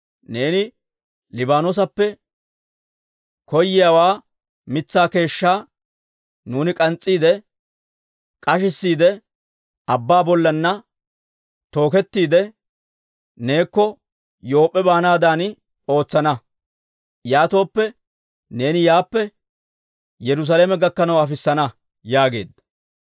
Neeni Liibaanoosappe koyyo mitsaa keeshshaa nuuni k'ans's'iide k'ashissiide, abbaa bollanna tookettiide, neekko Yoop'p'e baanaadan ootsana. Yaatooppe neeni yaappe Yerusaalame gakkanaw afissana» yaageedda.